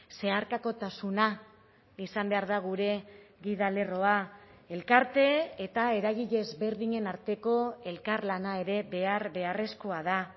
zeharkakotasuna izan behar da gure gida lerroa elkarte eta eragile ezberdinen arteko elkarlana ere behar beharrezkoa da